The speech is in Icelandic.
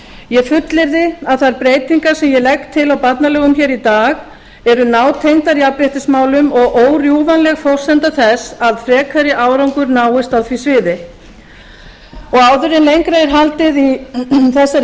ég fullyrði að þær breytingar sem ég legg til á barnalögum hér í dag eru nátengdar jafnréttismálum og órjúfanleg forsenda þess að frekari árangur náist á því sviði áður en lengra er haldið í þessari